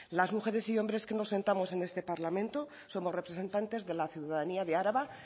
las mujeres y hombres que nos sentamos en este parlamento somos representantes de la ciudadanía de araba